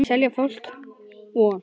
Þeir selja fólki von.